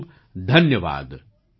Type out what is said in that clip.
ખૂબ ખૂબ ધન્યવાદ